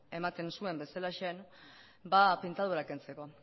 ematen zuen bezalaxe pintada hura kentzeko